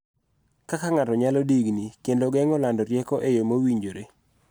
Kaka ng�ato nyalo digni kendo geng�o lando rieko e yoo mowinjore.